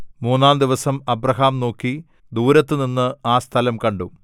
മൂന്നാംദിവസം Abraham നോക്കി ദൂരത്തുനിന്ന് ആ സ്ഥലം കണ്ടു